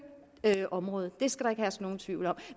området det skal der ikke herske nogen tvivl om